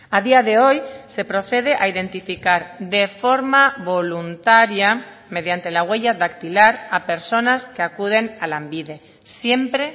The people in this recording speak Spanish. a día de hoy se procede a identificar de forma voluntaria mediante la huella dactilar a personas que acuden a lanbide siempre